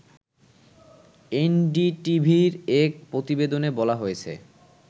এনডিটিভির এক প্রতিবেদনে বলা হয়েছে